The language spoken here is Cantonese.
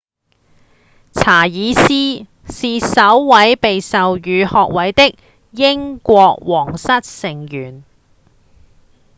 查爾斯是首位被授予學位的英國王室成員